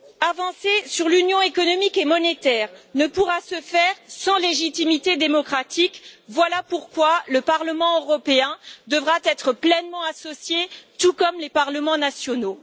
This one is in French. Avancer sur l'Union économique et monétaire ne pourra se faire sans légitimité démocratique, voilà pourquoi le Parlement européen devra être pleinement associé, tout comme les parlements nationaux.